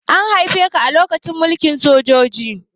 An haife ka lokacin mulkin sojoji?